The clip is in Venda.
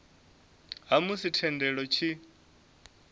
ha musi thendelo i tshi